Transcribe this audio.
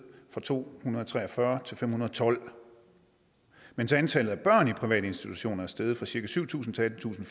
fra to hundrede og tre og fyrre til fem hundrede og tolv mens antallet af børn i private institutioner er steget fra cirka syv tusind til attentusinde